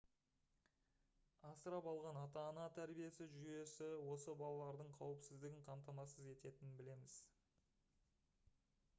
асырап алған ата-ана тәрбиесі жүйесі осы балалардың қауіпсіздігін қамтамасыз ететінін білеміз